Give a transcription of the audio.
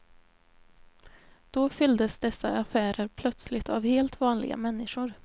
Då fylldes dessa affärer plötsligt av helt vanliga människor.